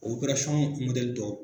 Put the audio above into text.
O dɔ